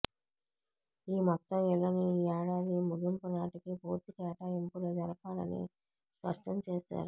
ఈ మొత్తం ఇళ్లను ఈ ఏడాది ముగింపు నాటికి పూర్తి కేటాయింపులు జరపాలని స్పష్టం చేశారు